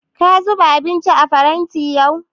Ka zuba abinci a faranti yau?